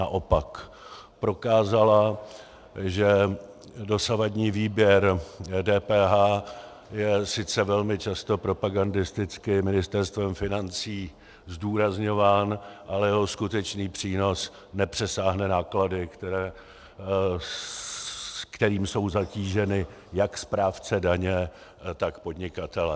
Naopak prokázala, že dosavadní výběr DPH je sice velmi často propagandisticky Ministerstvem financí zdůrazňován, ale jeho skutečný přínos nepřesáhne náklady, kterými jsou zatíženi jak správce daně, tak podnikatelé.